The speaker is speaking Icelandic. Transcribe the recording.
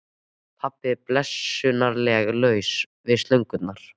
Pabbi var blessunarlega laus við slöngurnar.